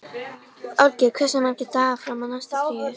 Olgeir, hversu margir dagar fram að næsta fríi?